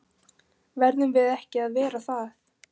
Verðum við ekki að vera það?